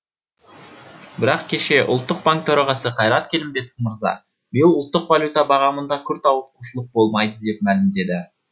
бірақ кеше ұлттық банк төрағасы қайрат келімбетов мырза биыл ұлттық валюта бағамында күрт ауытқушылық болмайды деп мәлімдеді